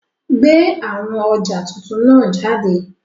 Gbe awọn ọja tuntun naa jade!